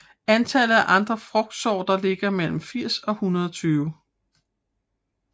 Antallet af andre frugtsorter ligger mellem 80 og 120